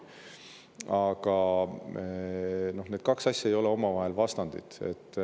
Aga need kaks asja ei ole omavahel vastandid.